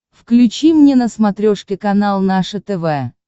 включи мне на смотрешке канал наше тв